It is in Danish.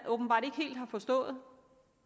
åbenbart ikke helt har forstået